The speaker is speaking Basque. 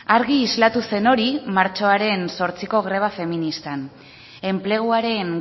argi islatu zen hori martxoaren zortziko greba feministan enpleguaren